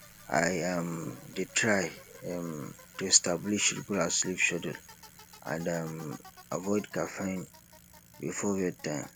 i um dey try um to establish regular sleep schedule and um avoid caffeine before bedtime